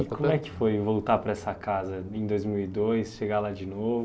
E como é que foi voltar para essa casa, em dois mil e dois, chegar lá de novo?